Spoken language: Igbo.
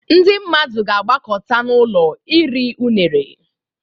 Ndị mmadụ ga-agbakọta n'ụlọ iri unere